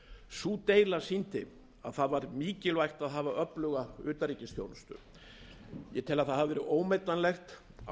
sú deila sýndi að það var mikilvægt að hafa öfluga utanríkisþjónustu ég tel að það hafi verið ómetanlegt á